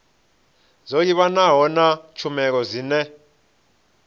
dzo livhanaho na tshumelo dzine